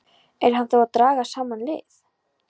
Er hann þá að draga saman lið?